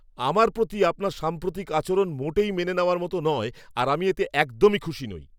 আমার প্রতি আপনার সাম্প্রতিক আচরণ মোটেই মেনে নেওয়ার মতো নয় আর আমি এতে একদমই খুশি নই।